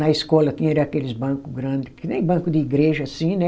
Na escola tinha era aqueles banco grande, que nem banco de igreja assim, né?